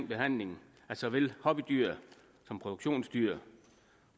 behandlingen af såvel hobbydyr som produktionsdyr